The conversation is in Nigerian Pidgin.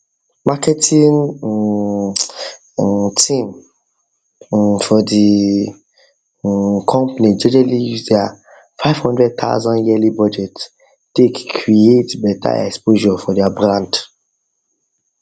marketing um team um for the um um company jejely use their 500000 yearly budget take create better exposure for their brand